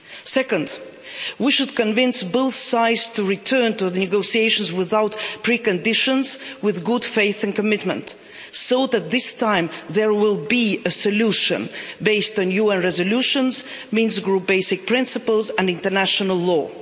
Second, we should convince both sides to return to the negotiations without preconditions and with good faith and commitment so that this time there will be a solution based on UN resolutions, Minsk Group basic principles and international law.